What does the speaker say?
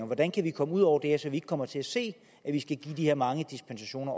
hvordan kan vi komme ud over det her så vi ikke kommer til at se at vi skal give de her mange dispensationer